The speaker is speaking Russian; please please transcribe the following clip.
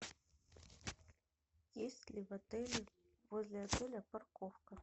есть ли в отеле возле отеля парковка